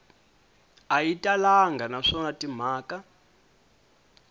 a yi talangi naswona timhaka